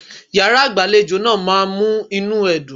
Yàrá-ìgbàlejò náà ma mú inú ẹ dùn.